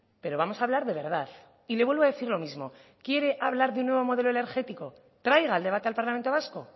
pero vamos a hablar de verdad y le vuelvo a decir lo mismo quiere hablar de un nuevo modelo energético traiga el debate al parlamento vasco